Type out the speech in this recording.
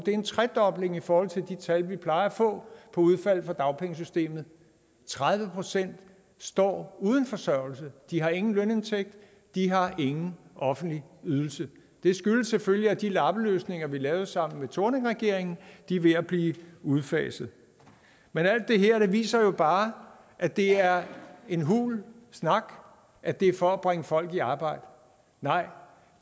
er en tredobling i forhold til de tal vi plejer at få på udfald af dagpengesystemet tredive procent står nu uden forsørgelse de har ingen lønindtægt de har ingen offentlig ydelse det skyldes selvfølgelig at de lappeløsninger vi lavede sammen med thorningregeringen er ved at blive udfaset men alt det her viser jo bare at det er en hul snak at det er for at bringe folk i arbejde nej